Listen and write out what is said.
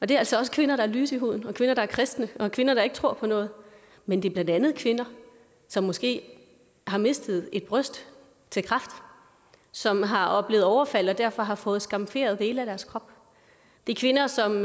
det er altså også kvinder der er lyse i huden og kvinder der er kristne og kvinder der ikke tror på noget men det er blandt andet kvinder som måske har mistet et bryst til kræft som har oplevet overfald og derfor har fået skamferet dele af deres krop det er kvinder som